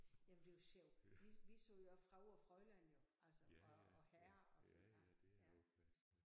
Jamen det jo sjov vi vi sagde jo også Frau og Fräulein jo altså og og og Herr og sådan ja